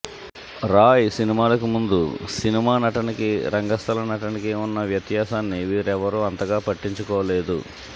రాయ్ సినిమాలకి ముందు సినిమా నటనకీ రంగస్థల నటనకి ఉన్న వ్యత్యాసాన్ని వీరెవ్వరూ అంతగా పట్టించుకోలేదు